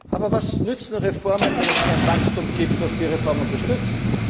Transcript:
Aber was nützen Reformen, wenn es kein Wachstum gibt, das die Reformen unterstützt?